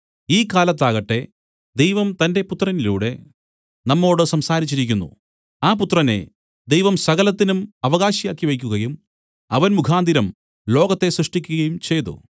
ഈ കാലത്താകട്ടെ ദൈവം തന്റെ പുത്രനിലൂടെ നമ്മോടു സംസാരിച്ചിരിക്കുന്നു ആ പുത്രനെ ദൈവം സകലത്തിനും അവകാശിയാക്കി വെയ്ക്കുകയും അവൻ മുഖാന്തരം ലോകത്തെ സൃഷ്ടിക്കുകയും ചെയ്തു